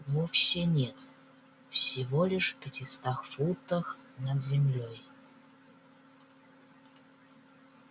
вовсе нет всего лишь пятистах футах над землёй